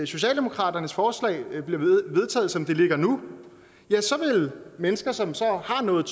socialdemokratiets forslag bliver vedtaget som det ligger nu vil mennesker som så har nået